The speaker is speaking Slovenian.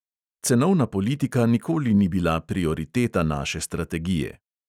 Cenovna politika nikoli ni bila prioriteta naše strategije.